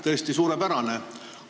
Tõesti suurepärane!